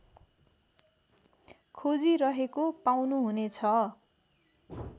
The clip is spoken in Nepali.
खोजिरहेको पाउनुहुनेछ